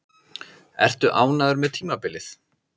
Ertu ánægður með tímabilið?